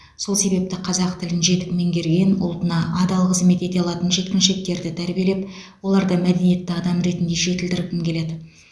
сол себепті қазақ тілін жетік меңгерген ұлтына адал қызмет ете алатын жеткіншектерді тәрбиелеп оларды мәдениетті адам ретінде жетілдіргім келеді